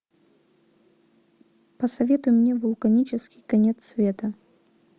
посоветуй мне вулканический конец света